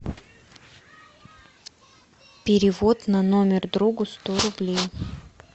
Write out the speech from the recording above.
перевод на номер другу сто рублей